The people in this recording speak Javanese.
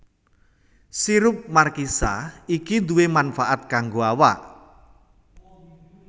Sirup markisa iki duwè manfaat kanggo awak